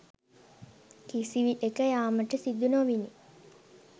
කිසිවිටෙක යාමට සිදු නොවිණි.